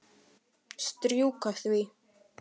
Strjúka því.